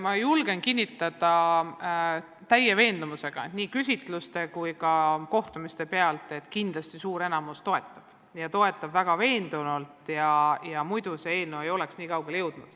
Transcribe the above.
Ma julgen täie veendumusega nii küsitluste kui ka kohtumiste pealt kinnitada, et kindlasti suur enamus toetab seda eelnõu ja toetab väga veendunult, sest muidu poleks see eelnõu nii kaugele jõudnud.